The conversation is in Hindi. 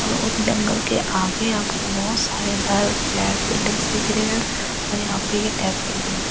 और जंगल के आगे आपको बहुत सारे घर फ्लैट्स बिल्डिंग्स दिख रहे है और यहाँ पे ये मिली है।